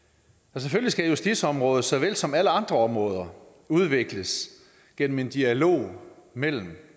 selvfølgelig skal justitsområdet såvel som alle andre områder udvikles gennem en dialog mellem